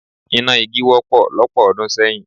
Iná igi wọ́pọ̀ lọ́pọ̀ ọdún sẹ́yìn.